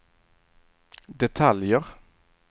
detaljer